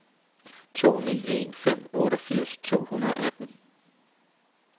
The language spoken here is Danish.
to ni en fem otteogfirs to hundrede og atten